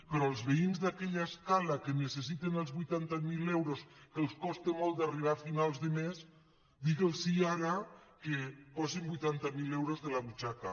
però als veïns d’aquella escala que necessiten els vuitanta mil euros que els costa molt d’arribar a finals de mes digues los ara que posin vuitanta mil euros de la butxaca